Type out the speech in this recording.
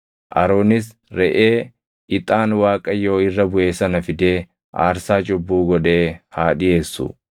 Aroonis reʼee ixaan Waaqayyoo irra buʼe sana fidee aarsaa cubbuu godhee haa dhiʼeessu.